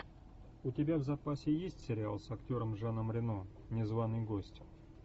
у тебя в запасе есть сериал с актером жаном рено незваный гость